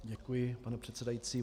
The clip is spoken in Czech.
Děkuji, pane předsedající.